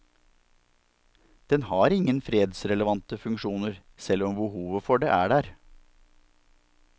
Den har ingen fredsrelevante funksjoner, selv om behovet for det er der.